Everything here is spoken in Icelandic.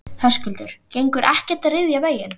Höskuldur: Gengur ekkert að ryðja veginn?